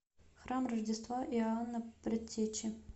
храм рождества иоанна предтечи